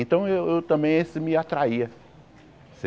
Então eu eu também isso me atraía.